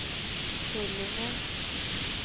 Tullinge